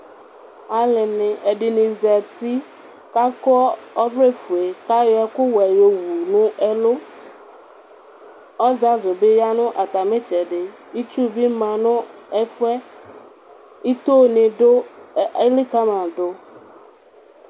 Alʋni ɛdini zati kʋ akɔ ɔvlɛfue, kʋ ayɔ ɛkʋwɛ yɔwʋ nʋ ɛlʋ, ɔzazʋ bi yanʋ atami itsɛdi, itsu bi manʋ ɛfʋ yɛ itoni elikama dʋ